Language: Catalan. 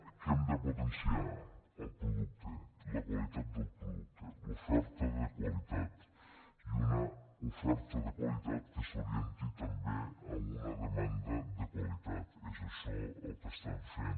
què hem de potenciar el producte la qualitat del producte l’oferta de qualitat i una oferta de qualitat que s’orienti també a una demanda de qualitat és això el que estem fent